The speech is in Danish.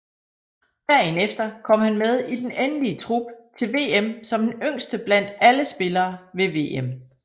Dagen efter kom han med i den endelige trup til VM som den yngste blandt alle spillere ved VM